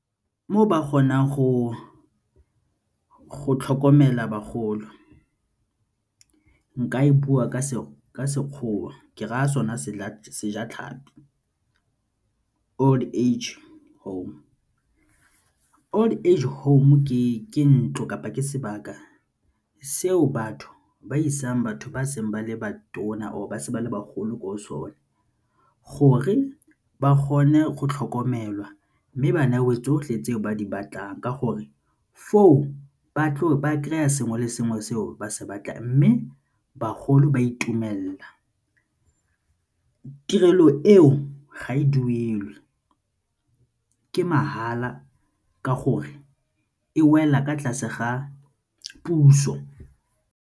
Mo ba kgonang go tlhokomela bagolo, nka e bua ka Sekgowa ke raya sona Sejatlhapi. Old age home, old age home ke ntlo kapa ke sebaka seo batho ba isang batho ba seng ba le ba tona or ba se ba le bagolo ko go sone gore ba kgone go tlhokomelwa mme ba newe tsotlhe tseo ba di batlang ka gore foo ba kry-a sengwe le sengwe seo ba se batlang mme bagolo ba itumelela, tirelo eo ga e duelwe ke mahala ka gore e wela fa tlase ga puso.